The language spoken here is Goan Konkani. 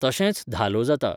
तशेंच धालो जाता.